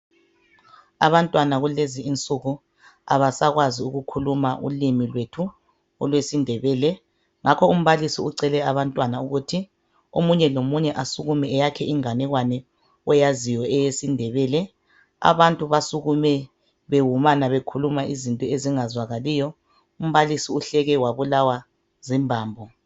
Abantwana kulezi insuku abasakwazi ukukhuluma ulimi lethu olwesindebele. Ngakho umbalisi ucele abantwana ukuthi omunye lomunye asukume eyakhe inganekwane oyaziyo eyesindebele .Abantu basukume bewumana bekhuluma izinto ezingazwakaliyo ,umbalisi uhleke wabulawa zimbambo.